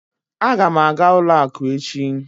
Aga m aga ụlọ akụ echi.